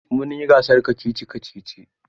Mun yi gasar kacici-kacici.